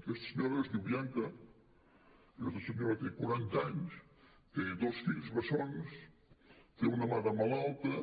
aquesta senyora es diu bianca aquesta senyora té quaranta anys té dos fills bessons té una mare malalta